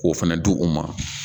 K'o fɛnɛ di u ma